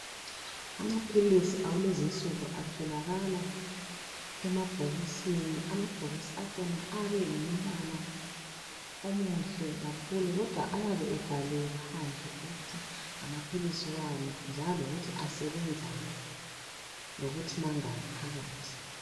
Amaphilisi akulezi insuku atholakala emabhokisini amabhokisi akhona ayabe engumbala omuhle Kakhulu kodwa ayabe ebhaliwe phandle ukuthi ngamaphilisi wani njalo lokuthi asebenzani lokuthi mangaki phakathi